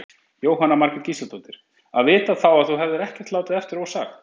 Jóhanna Margrét Gísladóttir: Að vita þá að þú hefðir ekkert látið eftir ósagt?